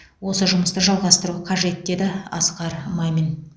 осы жұмысты жалғастыру қажет деді асқар мамин